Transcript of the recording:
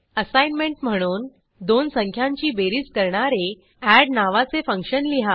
assignment म्हणून दोन संख्यांची बेरीज करणारे एड नावाचे फंक्शन लिहा